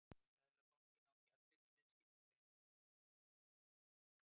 Seðlabankinn á gjaldeyrisviðskipti beint við ríkissjóð.